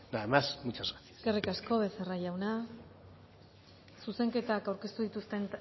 nada más muchas gracias eskerrik asko becerra jauna zuzenketa aurkeztu